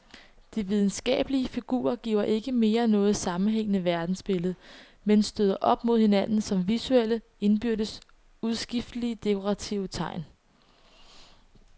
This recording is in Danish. De videnskabelige figurer giver ikke mere noget sammenhængende verdensbillede, men støder op mod hinanden som visuelle, indbyrdes udskiftelige dekorative tegn.